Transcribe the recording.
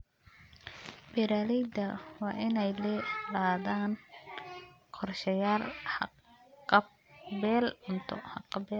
Beeralayda waa inay lahaadaan qorshayaal haqab-beel cunto.